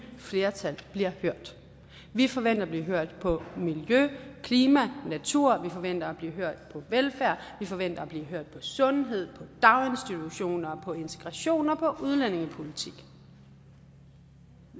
flertal bliver hørt vi forventer at blive hørt på miljø klima og natur vi forventer at blive hørt på velfærd vi forventer at blive hørt på sundhed daginstitutioner på integration og på udlændingepolitik